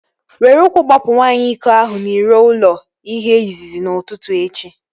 Were ụkwụ gbapụ nwaanyị iko ahụ n'iro ụlọ ihe izizi n'ụtụtụ echi!